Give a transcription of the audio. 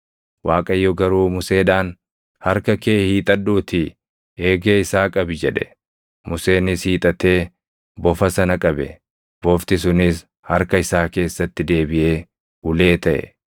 Waaqayyo garuu Museedhaan, “Harka kee hiixadhuutii eegee isaa qabi” jedhe. Museenis hiixatee bofa sana qabe; bofti sunis harka isaa keessatti deebiʼee ulee taʼe.